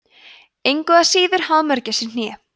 engu að síður hafa mörgæsir hné